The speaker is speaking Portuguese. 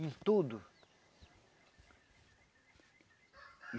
Em tudo.